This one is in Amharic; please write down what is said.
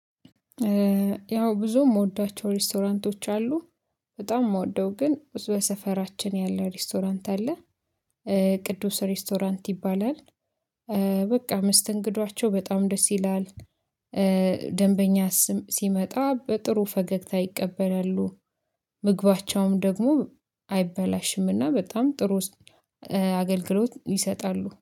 ያው ብዙ የምወዳቸው ሬስቶራንቶች አሉ በጣም የምወደው ግን በሰፈራችን ያለ ሬስቶራንት አለ። ቅዱስ ሬስቶራንት ይባላል። በቃ መስተንግዷቸው በጣም ደስ ይላል። ደንበኛ ሲመጣ በጥሩ ፈገግታ ይቀበላሉ። ምግባቸውም ደግሞ አይበላሽም እና በጣም ጥሩ አገልግሎት ይሰጣሉ